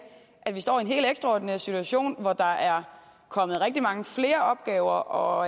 står i en helt ekstraordinær situation hvor der er kommet rigtig mange flere opgaver og